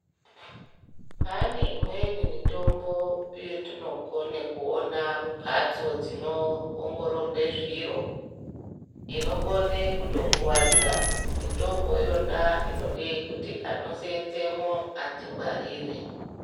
Pane imweni mitombo yetinokone kuona mumphatso dzino ongororwe zviro inokone kuto kuwadza. Mitombo iyona inode kuti ano seenzemwo adzingwarire.